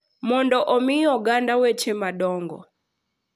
mondo omi oganda weche madongo